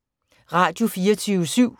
Radio24syv